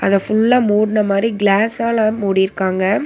அதுல ஃபுல்லா மூடுன மாதிரி கிளாஸ் ஆல மூடி இருக்காங்க.